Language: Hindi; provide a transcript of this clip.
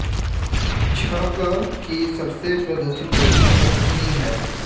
छ ग कि सबसे प्रदूषित नदी शंखिनी हैं